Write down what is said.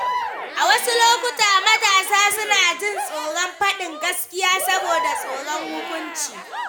A wasu lokuta, matasa suna jin tsoron faɗin gaskiya saboda tsoron hukunci.